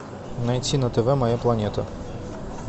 найти на тв моя планета